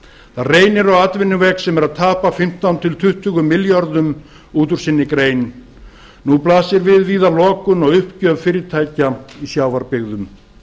það reynir á atvinnuveg sem er að tapa fimmtán til tuttugu milljörðum út úr sinni grein nú blasir víða við lokun og uppgjöf fyrirtækja í sjávarbyggðum